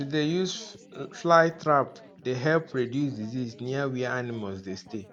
to dey use flly trap dey help reduce disease near where animals dey stay